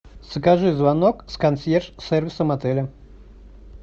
закажи звонок с консьерж сервисом отеля